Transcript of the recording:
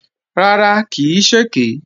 Rárá, kì í ṣèké